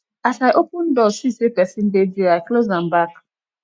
as i open door see sey pesin dey there i close am back